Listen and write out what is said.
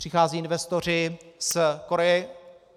Přichází investoři z Koreje.